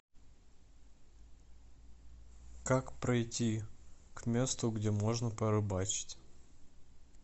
как пройти к месту где можно порыбачить